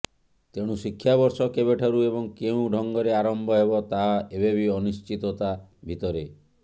ତେଣୁ ଶିକ୍ଷାବର୍ଷ କେବେଠାରୁ ଏବଂ କେଉଁ ଢଙ୍ଗରେ ଆରମ୍ଭ ହେବ ତାହା ଏବେବି ଅନିଶ୍ଚିତତା ଭିତରେ